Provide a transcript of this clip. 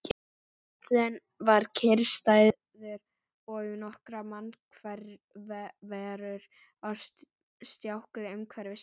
Bíllinn var kyrrstæður og nokkrar mannverur á stjákli umhverfis hann.